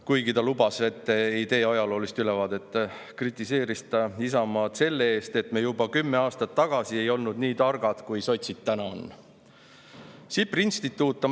Kuigi ta lubas, et ei tee ajaloolist ülevaadet, kritiseeris ta Isamaad selle eest, et me juba kümme aastat tagasi ei olnud nii targad, kui sotsid täna on.